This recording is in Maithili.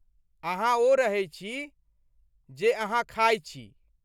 अहाँ ओ रहै छी, जे अहाँ खाइत छी।